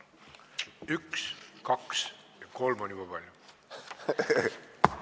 Üks, kaks ... ja kolm on juba palju.